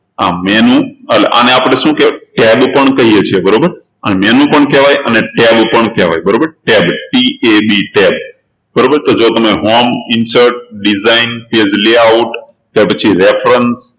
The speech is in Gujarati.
આ menu એટલે આને આપણે શું કહેવાય tab પણ કહીએ છીએ બરાબર આને menu પણ કહેવાય અને tab પણ કહેવાય બરાબર tabTABtab બરાબર તો જુઓ તો homeinsertdesignpage layout ત્યારપછી